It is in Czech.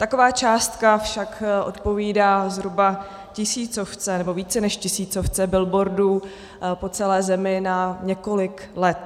Taková částka však odpovídá zhruba tisícovce, nebo více než tisícovce billboardů po celé zemi na několik let.